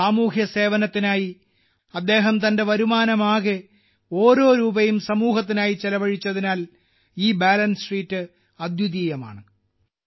6 വർഷത്തെ സമ്പാദ്യം മുഴുവൻ സാമൂഹ്യസേവനത്തിനായി അദ്ദേഹം ചെലവഴിച്ചതിനാൽ ഈ ബാലൻസ് ഷീറ്റ് അദ്വിതീയമാണ്